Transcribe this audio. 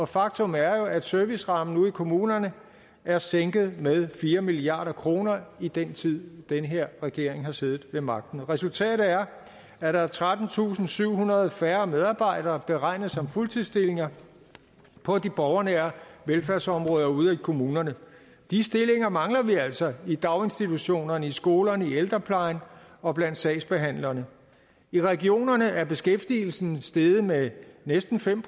faktum er at servicerammen ude i kommunerne er sænket med fire milliard kroner i den tid den her regering har siddet ved magten resultatet er at der er trettentusinde og syvhundrede færre medarbejdere beregnet som fuldtidsstillinger på de borgernære velfærdsområder ude i kommunerne de stillinger mangler vi altså i daginstitutionerne i skolerne i ældreplejen og blandt sagsbehandlerne i regionerne er beskæftigelsen steget med næsten fem